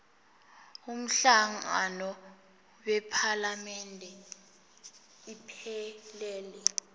umhlangano wephalamende iphelele